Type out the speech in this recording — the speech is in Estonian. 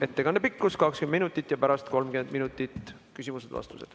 Ettekande pikkus on 20 minutit ja pärast on 30 minutit küsimused ja vastused.